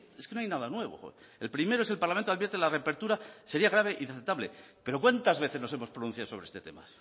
es que no hay nada nuevo el primero es el parlamento advierte que la reapertura sería grave e inaceptable pero cuántas veces nos hemos pronunciado sobre este tema